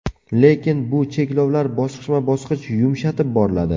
Lekin bu cheklovlar bosqichma-bosqich yumshatib boriladi.